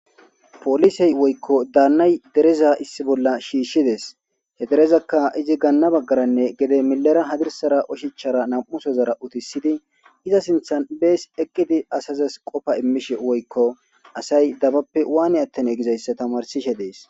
Poliseti woyikko danayi dereza issi bola shishideesi he derezakka izi gana bagara gede mile bagara hadirisara oshshachara namusoora utisidi eza sinthani besi eqidi basi asazasi qofa immishe woyikko asayi dabappe wani atanne gizayisa tamarisishe deesi